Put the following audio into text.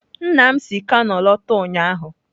Nna m si kano lọta ụnyahụ.